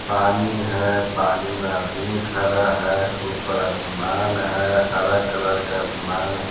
पानी है पानी में आदमी खड़ा है ऊपर आसमान है हरा कलर का आसमान है।